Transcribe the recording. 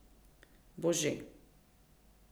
Bo že.